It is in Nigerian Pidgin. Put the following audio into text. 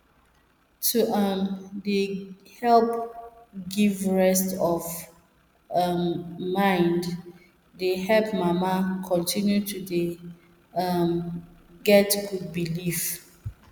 to um dey help give rest of um mind dey help mama continue to dey um get good belief